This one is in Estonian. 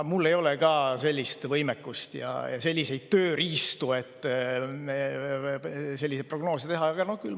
Mul ei ole ka sellist võimekust ja selliseid tööriistu, et neid prognoose teha.